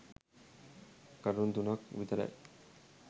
කරුණු තුනක් විතරයි.